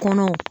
Kɔnɔw